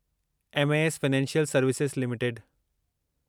MAS financial services limited